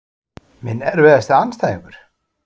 Minn erfiðasti andstæðingur?